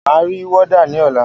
Máa ri wọ́dà ní ọ̀la.